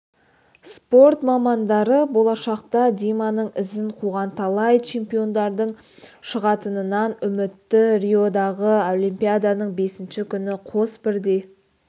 спорт мамандары болашақта диманың ізін қуған талай чемпиондардың шығатынынан үмітті риодағы олимпиаданың бесінші күні қос бірдей